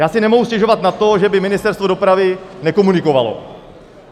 Já si nemohu stěžovat na to, že by Ministerstvo dopravy nekomunikovalo.